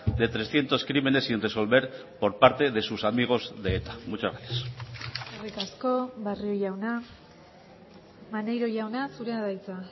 de trescientos crímenes sin resolver por parte de sus amigos de eta muchas gracias eskerrik asko barrio jauna maneiro jauna zurea da hitza